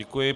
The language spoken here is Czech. Děkuji.